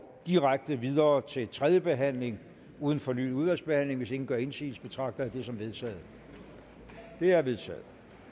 direkte videre til tredje behandling uden fornyet udvalgsbehandling hvis ingen gør indsigelse betragter jeg det som vedtaget det er vedtaget